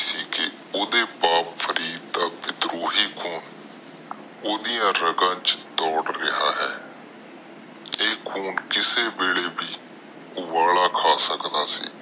ਓਹਦੇ ਬੱਪ ਫਰੀਰ ਦਾ ਵਿਦਰੂਹੀ ਖੂਨ ਓਹਦਾ ਰੱਗਾਂ ਵਿਚ ਡੋਰ ਰਿਹਾ ਆ ਤੇ ਇਹ ਖੂਨ ਕਿਸੇ ਵੇਲੇ ਵੀ ਉੱਬਲ ਖਾ ਸਕਦਾ ਸੀ